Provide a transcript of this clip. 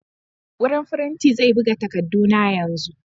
Wurin firinti zai buga takarduna yanzu.